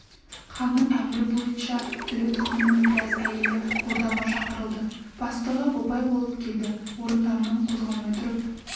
ханның әмірі бойынша төре тұқымының біраз әйелі ордаға шақырылды бастығы бопай болып келді орындарынан қозғалмай тұрып